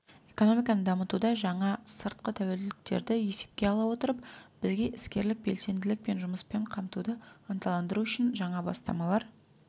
экономиканы дамытуда жаңа сыртқы тәуекелдерді есепке ала отырып бізге іскерлік белсенділік пен жұмыспен қамтуды ынталандыру үшін жаңа бастамалар